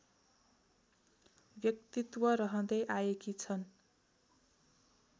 व्यक्तित्व रहँदै आएकी छन्